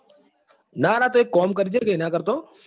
ના ના તો એક કામ કરજે ને એના કરતા તો.